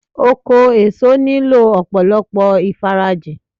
Oko èso nílò ọ̀pọ̀lọpọ̀ ìfarajìn